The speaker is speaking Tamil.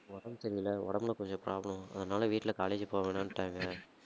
உடம்பு சரியில்ல உடம்புல கொஞ்சம் problem அதனால வீட்ல college யே போக வேணான்ட்டாங்க